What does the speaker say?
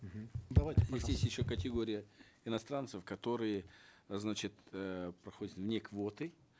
мхм давайте ну здесь еще категория иностранцев которые значит эээ проходят вне квоты